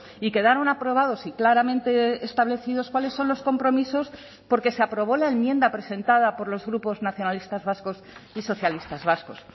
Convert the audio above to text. y quedaron aprobados y claramente establecidos cuáles son los compromisos porque se aprobó la enmienda presentada por los grupos nacionalistas vascos y socialistas vascos